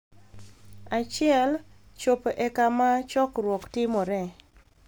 1) chopo e kama chokruok timore